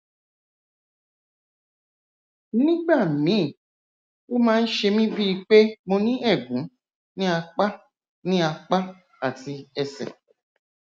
nígbà míì ó máa ń ṣe mí bíi pé mo ní ẹgún ní apá ní apá àti ẹsẹ